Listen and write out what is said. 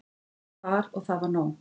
Fékk far og það var nóg.